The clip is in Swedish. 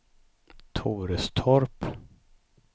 Torestorp